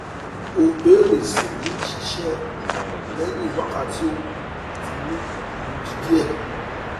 o beere si ni sise lehin wakati oogun ati ni ilodi die